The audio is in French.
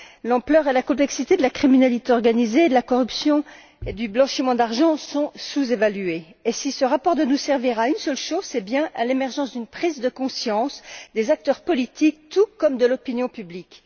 L'ampleur et la complexité de la criminalité organisée, de la corruption et du blanchiment d'argent sont sous évaluées. Si ce rapport doit nous servir à une seule chose, c'est bien à l'émergence d'une prise de conscience des acteurs politiques tout comme de l'opinion publique.